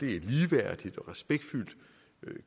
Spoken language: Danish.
er et ligeværdigt og respektfuldt